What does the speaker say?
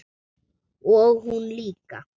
Og hún líka.